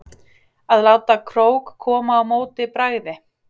Að láta krók koma á móti bragði